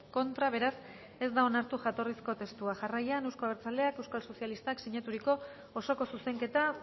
contra beraz ez da onartu jatorrizko testua jarraian euzko abertzaleak eta euskal sozialistak sinaturiko osoko zuzenketa